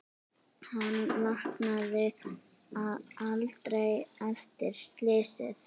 Hann vaknaði aldrei eftir slysið.